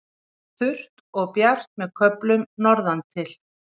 Þurrt og bjart með köflum norðantil